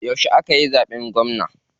Yauce akayi zaɓen gwamna?